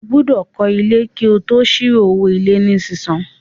Ó gbọ́dọ̀ kọ́ ilé kí o tó ṣíwo owó ilé ní sísan